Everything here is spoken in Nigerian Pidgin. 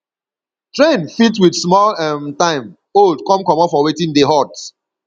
trend fit with small um time old come comot for wetin dey hot